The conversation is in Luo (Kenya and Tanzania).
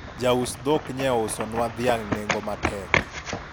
ja us dhok nye ousonwa dhiang' nengo matek